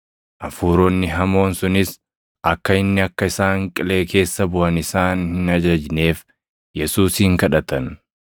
Hafuuronni hamoon sunis akka inni akka isaan Qilee keessa buʼan isaan hin ajajneef Yesuusin kadhatan.